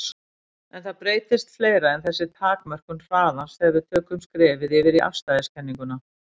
En það breytist fleira en þessi takmörkun hraðans þegar við tökum skrefið yfir í afstæðiskenninguna.